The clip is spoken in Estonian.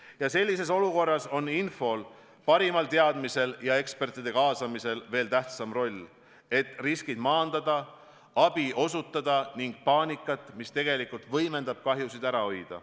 Ja sellises olukorras on infol, parimatel teadmistel ja ekspertide kaasamisel veel tähtsam roll, et riskid maandada, abi osutada ning paanikat, mis tegelikult võimendab kahjusid, ära hoida.